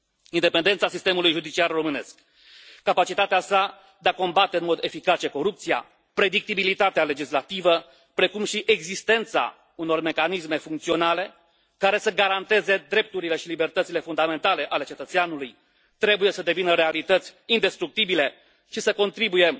Independența sistemului judiciar românesc, capacitatea sa de a combate în mod eficace corupția, predictibilitatea legislativă, precum și existența unor mecanisme funcționale care să garanteze drepturile și libertățile fundamentale ale cetățeanului trebuie să devină realități indestructibile și să se constituie